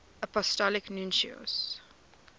apostolic nuncios